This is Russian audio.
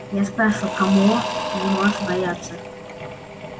я спрашиваю кого ты можешь бояться